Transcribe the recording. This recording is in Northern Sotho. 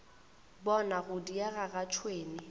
bona go diega ga tšhwene